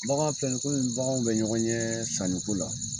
Bagan filɛ nin ye komin baganw bɛ ɲɔgɔn ɲɛ sanniko la.